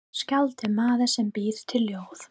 Skáld er maður sem býr til ljóð.